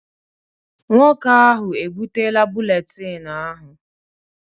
Nwoke ahụ ebutela buletin ahụ.